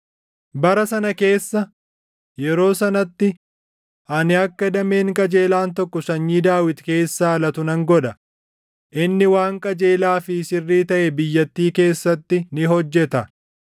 “ ‘Bara sana keessa, yeroo sanatti ani akka dameen qajeelaan tokko sanyii Daawit keessaa latu nan godha; inni waan qajeelaa fi sirrii taʼe biyyattii keessatti ni hojjeta.